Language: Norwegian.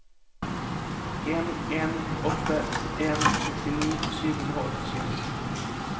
en en åtte en sekstini sju hundre og åttisju